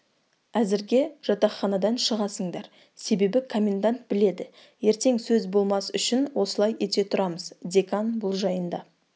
әзірге жатақханадан шығасыңдар себебі коммендант біледі ертең сөз болмас үшін осылай ете тұрамыз декан бұл жайында